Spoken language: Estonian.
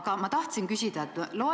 Aga ma tahtsin küsida teise asja kohta.